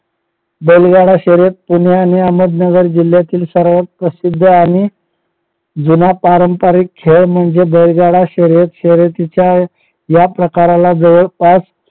बैलगाडा शर्यत पुणे आणि अहमदनगर जिल्यातील सर्वात प्रसिद्ध आणि जुना पारंपरिक खेळ म्हणजे बैलगाडा शर्यत शर्यतीच्या या प्रकाराला जवळपास